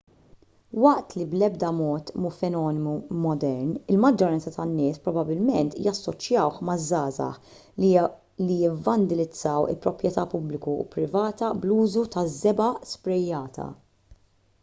waqt li bl-edba mod mhu fenomenu modern il-maġġoranza tan-nies probabbilment jassoċjawh maż-żgħażagħ li jivvandilizzaw il-proprjetà pubblika u privata bl-użu taż-żebgħa sprejjata